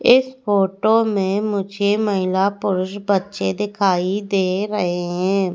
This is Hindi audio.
इस फोटो में मुझे महिला पुरुष बच्चे दिखाई दे रहे हैं।